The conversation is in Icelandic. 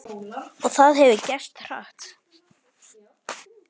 Og það hefur gerst hratt.